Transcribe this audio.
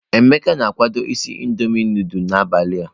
Emeka na-akwado isi Indọmiị nudulu n'abalị a.